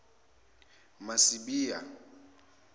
masibiya